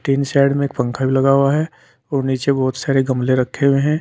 तीन साइड में एक पंखा भी लगा हुआ है और नीचे बहुत सारे गमले रखे हुए हैं।